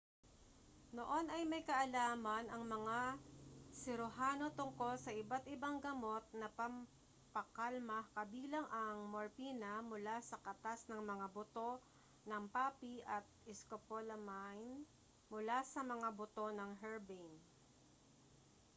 noon ay may kaalaman ang mga siruhano tungkol sa iba't ibang gamot na pampakalma kabilang ang morpina mula sa katas ng mga buto ng poppy at scopolamine mula sa mga buto ng herbane